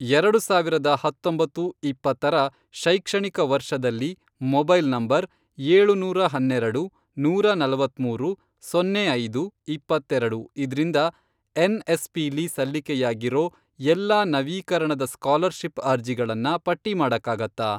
ಎರಡು ಸಾವಿರದ ಹತ್ತೊಂಬತ್ತು, ಇಪ್ಪತ್ತರ, ಶೈಕ್ಷಣಿಕ ವರ್ಷದಲ್ಲಿ ಮೊಬೈಲ್ ನಂಬರ್, ಏಳುನೂರ ಹನ್ನೆರೆಡು, ನೂರಾ ನಲವತ್ಮೂರು ,ಸೊನ್ನೆ ಐದು, ಇಪ್ಪತ್ತೆರೆಡು, ಇದ್ರಿಂದ ಎನ್ಎಸ್ಪಿಲಿ ಸಲ್ಲಿಕೆಯಾಗಿರೋ ಎಲ್ಲಾ ನವೀಕರಣದ ಸ್ಕಾಲರ್ಷಿಪ್ ಅರ್ಜಿಗಳನ್ನ ಪಟ್ಟಿ ಮಾಡಕ್ಕಾಗತ್ತಾ?